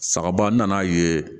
Sagaban nan'a ye